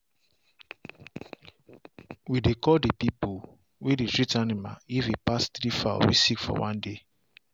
we dey call the people way dey treat animal if e pass three fowl way sick for one day.